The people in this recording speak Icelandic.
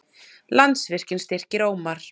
Landsvirkjun styrkir Ómar